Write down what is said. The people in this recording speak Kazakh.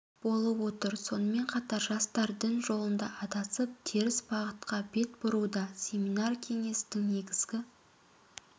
болып отыр сонымен қатар жастар дін жолында адасып теріс бағытқа бет бұруда семинар кеңестің негізгі